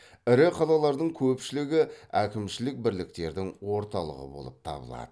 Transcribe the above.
ірі қалалардың көпшілігі әкімшілік бірліктердің орталығы болып табылады